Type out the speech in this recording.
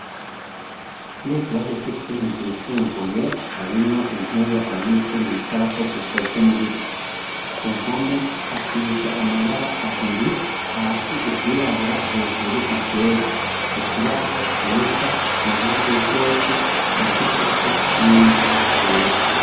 Mweikirazi c'ishuri ryisumbuye harimwo intebe abanyeshuri bicarako zikozwe mu biti, ku mpome hasize amabara abiri hasi iryirabura hejuru iryera, ikibaho ciza ku mpande zosi ryanditseko n'ingwa yera.